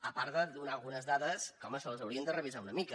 a part de donar algunes dades que home se les hau·rien de revisar una mica